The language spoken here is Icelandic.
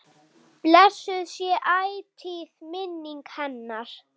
Blessuð sé ætíð minning hennar.